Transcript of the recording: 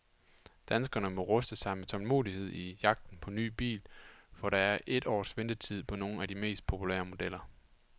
Danskerne må ruste sig med tålmodighed i jagten på ny bil, for der er et års ventetid på nogle af de mest populære modeller.